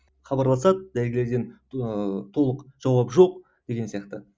хабарласады дәрігерден ыыы толық жауап жоқ деген сияқты